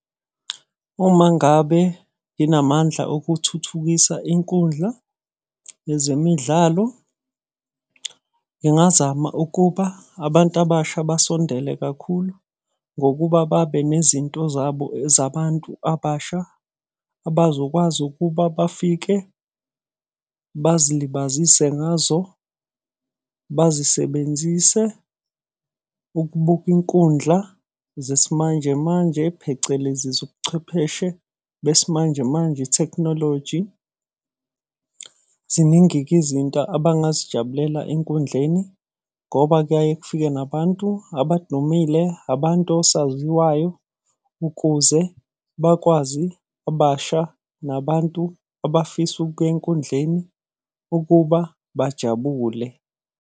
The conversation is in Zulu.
Uma ngabe nginamandla okuthuthukisa inkundla yezemidlalo. Ngingazama ukuba abantu abasha basondele kakhulu, ngokuba babe nezinto zabo zabantu abasha. Abazokwazi ukuba bafike bazilibazise ngazo, bazisebenzise ukubuka inkundla zesimanje manje, phecelezi zobuchwepheshe besimanje manje, ithekhnoloji. Ziningi-ke izinto abangazijabulela enkundleni ngoba kuyaye kufike nabantu abadumile, abantu osaziwayo, ukuze bakwazi abasha nabantu abafisa ukuya enkundleni ukuba bajabule.